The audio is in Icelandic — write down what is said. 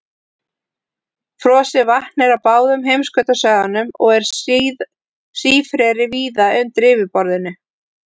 Frosið vatn er á báðum heimskautasvæðunum og er sífreri víða undir yfirborðinu.